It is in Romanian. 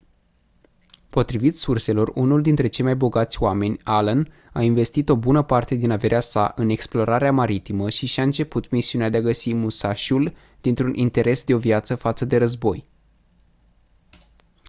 potrivit surselor unul dintre cei mai bogați oameni allen a investit o bună parte din averea sa în explorarea maritimă și și-a început misiunea de a găsi musashi-ul dintr-un interes de-o viață față de război